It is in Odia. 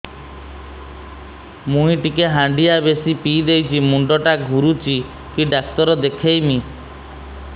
ମୁଇ ଟିକେ ହାଣ୍ଡିଆ ବେଶି ପିଇ ଦେଇଛି ମୁଣ୍ଡ ଟା ଘୁରୁଚି କି ଡାକ୍ତର ଦେଖେଇମି